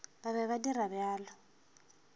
ba be ba dira bjalo